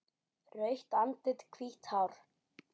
Rautt andlit, hvítt hár.